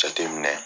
Jateminɛ